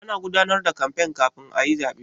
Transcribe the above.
Ana gudanar da kamfen kafin a yi zaɓe.